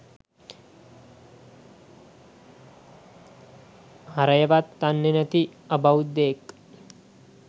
හරයවත් දන්නේ නැති අබෞද්ධයෙක්.